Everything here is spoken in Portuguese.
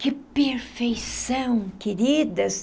Que perfeição, queridas!